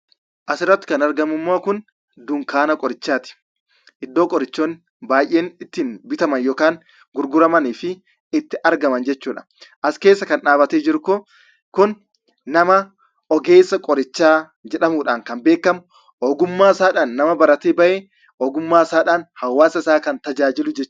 Asirratti kan argamu immoo kun, dukkaana qorichaati. Iddoo qorichoonni baayyeen itti bitaman yookiin kan gurguramanii fi itti argaman jechuudha. As keessa kan dhaabatee jiru Kun nama ogeessa qorichaa jedhamuudhaan kan beekamu, ogummaa isaadhaan nama baratee bahe, ogummaa isaadhaan hawaasa isaa kan tajaajiludha.